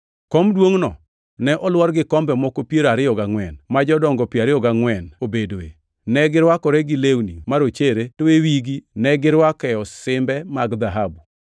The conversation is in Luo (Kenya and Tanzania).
Kom duongʼno ne olwor gi kombe moko piero ariyo gangʼwen ma jodongo piero ariyo gangʼwen obedoe. Ne girwakore gi lewni marochere to e wigi negirwake osimbe mag dhahabu.